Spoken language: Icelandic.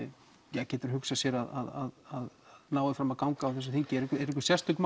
getur hugsað sér að nái fram að ganga á þessu þingi eru einhver sérstök